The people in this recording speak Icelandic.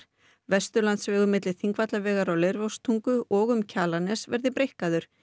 Vesturlandsvegur milli Þingvallavegar og Leirvogstungu og um Kjalarnes verði breikkaður